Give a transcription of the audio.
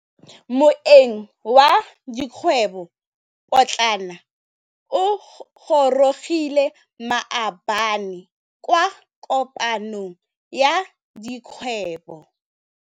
Moêng wa dikgwêbô pôtlana o gorogile maabane kwa kopanong ya dikgwêbô.